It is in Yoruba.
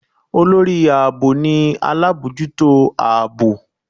Olorí aabọ ni alabọjuto aabọ